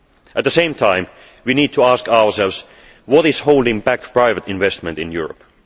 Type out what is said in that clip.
At the same time, we need to ask ourselves what is holding back private investment in Europe.